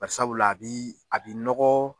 Bari sabula a b'i a b'i nɔgɔ